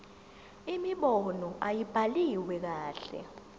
imibono ayibhaliwe kahle